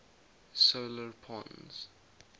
solar pons